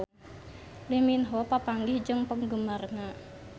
Lee Min Ho papanggih jeung penggemarna